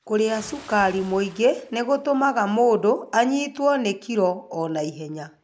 Kũrĩa cukari mũingĩ nĩ gũtũmaga mũndũ anyitwo nĩ kilo o na ihenya.